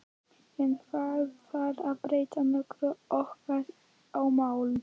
En þarf það að breyta nokkru okkar á milli?